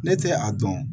Ne tɛ a dɔn